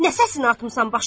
Nə səsini atmısan başına?